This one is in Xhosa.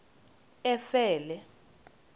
efele